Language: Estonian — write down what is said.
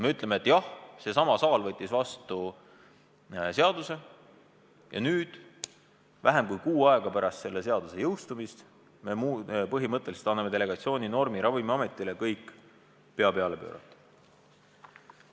Me ütleme, et jah, seesama saal võttis vastu seaduse, ja nüüd, vähem kui kuu aega pärast selle seaduse jõustumist me põhimõtteliselt anname Ravimiametile delegatsiooninormi kõik pea peale pöörata.